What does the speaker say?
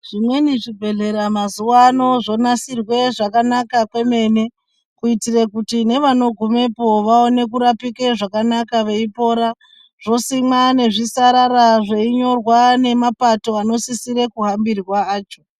Zvimweni zvibhedhlera mazuwa ano zvonasirwa zvakanaka kwemene kuitire kuti nevanogumepo vaone kurapike zvakanaka veipora zvosimwe nezvisarara zveinyorwa nemapati anosise kuhambirwa acho.